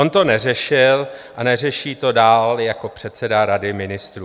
On to neřešil a neřeší to dál jako předseda Rady ministrů.